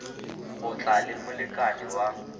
go tla le molekane wa